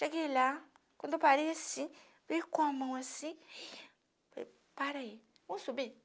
Cheguei lá, quando eu parei assim, vim com a mão assim, falei, para aí, vamos subir?